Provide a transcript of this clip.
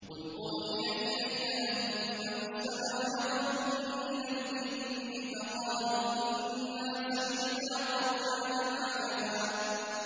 قُلْ أُوحِيَ إِلَيَّ أَنَّهُ اسْتَمَعَ نَفَرٌ مِّنَ الْجِنِّ فَقَالُوا إِنَّا سَمِعْنَا قُرْآنًا عَجَبًا